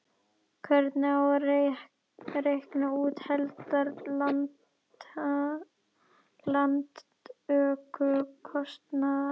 Hvernig á að reikna út heildar lántökukostnað?